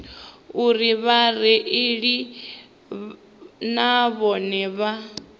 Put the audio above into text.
uri vhareili na vhone vha